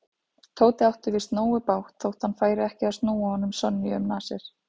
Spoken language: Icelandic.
Tóti átti víst nógu bágt þótt hann færi ekki að núa honum Sonju um nasir.